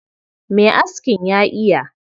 Mai askin ya iya.